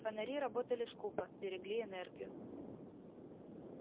фонари работали скупо берегли энергию